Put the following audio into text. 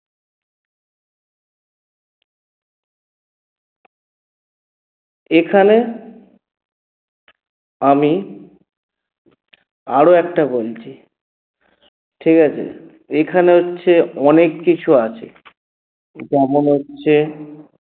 এখানে আমি আরো একটা বলছি ঠিকাছে? এখানে হচ্ছে অনেককিছু আছে যেমন হচ্ছে